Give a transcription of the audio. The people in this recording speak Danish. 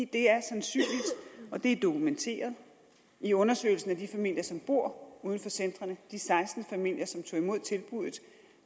det er sandsynligt og det er dokumenteret i undersøgelsen af de familier som bor uden for centrene de seksten familier som tog imod tilbuddet